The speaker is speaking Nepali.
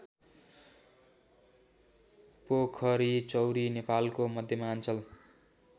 पोखरीचौरी नेपालको मध्यमाञ्चल